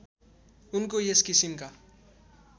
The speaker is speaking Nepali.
उनको यस किसिमका